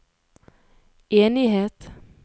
enighet